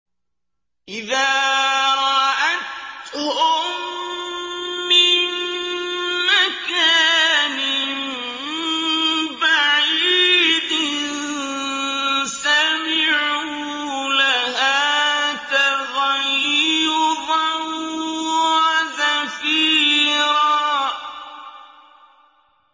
إِذَا رَأَتْهُم مِّن مَّكَانٍ بَعِيدٍ سَمِعُوا لَهَا تَغَيُّظًا وَزَفِيرًا